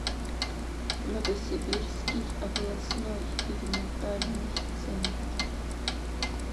новосибирский областной перинатальный центр